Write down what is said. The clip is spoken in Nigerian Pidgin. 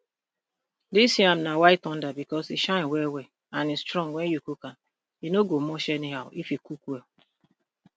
dis yam na white thunder because e shiny wellwell and e strong wen you cook am e no go mush anyhow e fit cook well